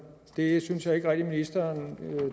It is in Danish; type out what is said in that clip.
jeg synes ikke rigtig at ministeren